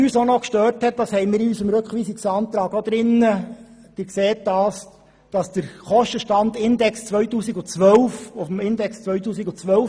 Ebenfalls gestört haben wir uns daran – dies ist auch in unserem Rückweisungsantrag enthalten –, dass auf dem Kostenstandindex von 2012 abgestellt wird.